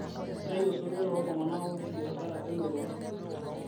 Keitayu osotua too ltung'ana ooti biashara elototo